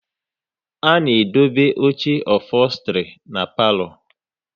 A na edobe oche ofostri na palo